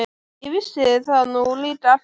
Ég vissi það nú líka alltaf!